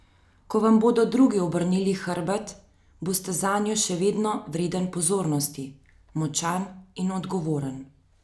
Ko vam bodo drugi obrnili hrbet, boste zanjo še vedno vreden pozornosti, močan in odgovoren.